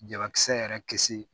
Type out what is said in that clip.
Jalakisɛ yɛrɛ kisi